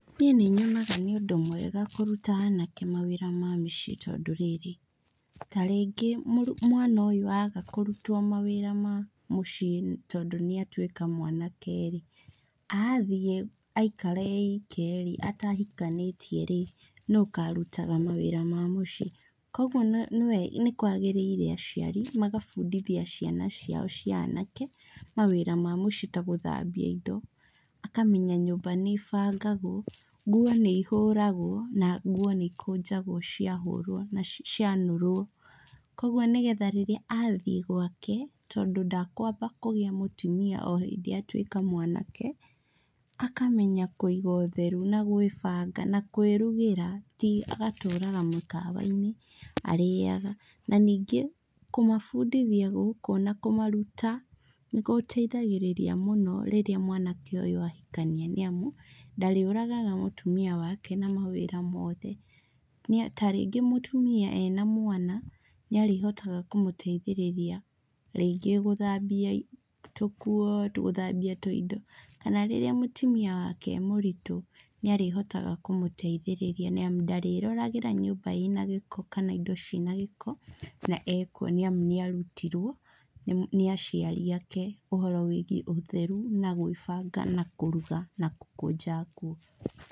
Niĩ nĩnyonaga nĩ ũndũ mwega kũruta anake mawĩra ma mĩciĩ tondũ rĩrĩ, ta rĩngĩ mwana ũyũ aga kũrutwo mawĩra ma mũciĩ tondũ nĩatuĩka mwanake-rĩ, athiĩ aikara e ike-rĩ atahikanĩtie-rĩ, nũũ ũkarutaga mawĩra ma mũciĩ, kuoguo nĩkwagĩrĩire aciari magabundithia ciana ciao cia anake mawĩra ma mũciĩ ta gũthambia indo. Akamenya nyũmba nĩ bangagwo, nguo nĩihũragwo, na nguo nĩikũnjagwo ciahũrwo na cianũrwo, kuoguo nĩgetha rĩrĩa athiĩ gwake, tondũ ndakwamba kũgĩa mũtumia o hĩndĩ atuĩka mwanake, akamenya kũiga ũtheru na gwĩbanga na kwĩrugĩra, ti agatũraga mĩkawa-inĩ arĩaga. Na ningĩ, kũmabundithia gũkũ na kũmaruta nĩkũteithagĩrĩria mũno rĩrĩa mwanake ũyũ ahikania nĩamu, ndarĩũragaga mũtumia wake na mawĩra mothe. Nĩa ta rĩngĩ mũtumi ena mwana, nĩarĩhotaga kũmũteithĩrĩria, rĩngĩ gũthambia tũkuo, gũthambia tũindo. Kana rĩrĩa mũtumia wake e mũritũ, nĩarĩhotaga kũmũteithĩrĩria nĩamu ndarĩroragĩra nyũmba ĩna gĩko kana indo ciĩna gĩko, na ekuo na nĩarutirwo nĩ aciri ake ũhoro wĩgiĩ ũtheru, na gwĩbanga na kũruga, na gũkũnja nguo.